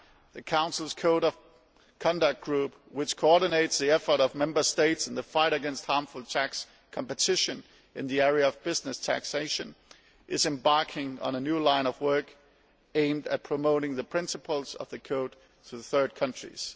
The Council's Code of Conduct group, which coordinates the efforts of Member States in the fight against harmful tax competition in the area of business taxation, is embarking on a new line of work aimed at promoting the principles of the code to third countries.